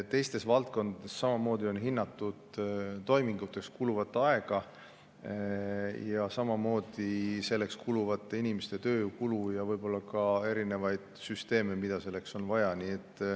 Teistes valdkondades samamoodi on hinnatud toiminguteks kuluvat aega, tööjõukulu ja võib-olla ka erinevaid süsteeme, mida selleks on vaja.